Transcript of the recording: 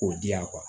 K'o di yan